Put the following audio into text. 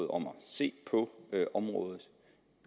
om at se på området